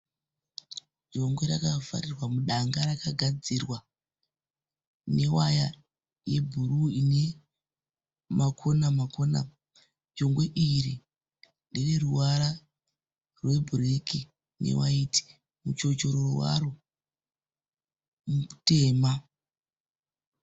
Jongwe rakavharirwa mudanga rakagadzirwa newaya yebhuruu inemakona-makona. Jongwe iri ndereruvara rwebhureki newaiti. Muchochororo waro mutema.